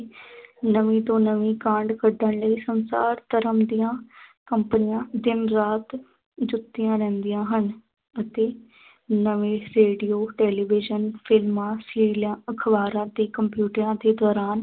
ਨਵੀਂ ਤੋਂ ਨਵੀਂ ਕਾਢ ਕੱਢਣ ਲਈ ਸੰਸਾਰ ਭਰ ਦੀਆਂ ਕੰਪਨੀਆਂ ਦਿਨ ਰਾਤ ਜੁੱਟੀਆ ਰਹਿੰਦੀਆਂ ਹਨ ਅਤੇ ਨਵੇਂ ਰੇਡੀਓ television ਫ਼ਿਲਮਾਂ ਅਖਬਾਰਾਂ ਤੇ ਕੰਪਿਊਟਰਾਂ ਦੇ ਦੌਰਾਨ